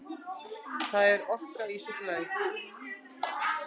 Það er orka í súkkulaði.